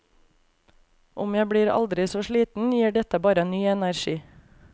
Om jeg blir aldri så sliten, gir dette bare ny energi.